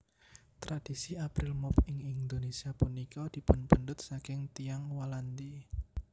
Tradhisi April Mop ing Indonésia punika dipunpendhet saking Tiyang Walandi